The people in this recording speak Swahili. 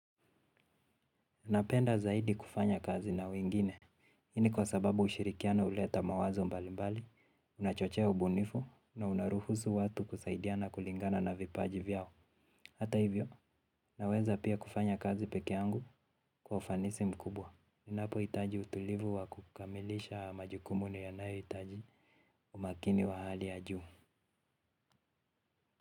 Napenda zaidi kufanya kazi na wengine, hii ni kwa sababu ushirikiano huleta mawazo mbalimbali, unachochea ubunifu, na unaruhusu watu kusaidiana kulingana na vipaji vyao. Hata hivyo, naweza pia kufanya kazi peke yangu kwa ufanisi mkubwa. Ninapohitaji utulivu wa kukamilisha majukumu niyanayohitaji umakini wa hali ya juu.